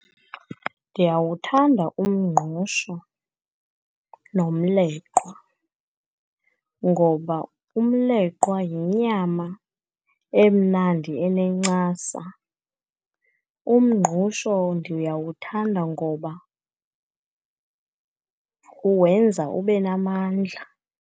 Ndiyawuthanda umngqusho nomleqwa ngoba umleqwa yinyama emnandi enencasa. Umngqusho ndiyawuthanda ngoba wenza ube namandla.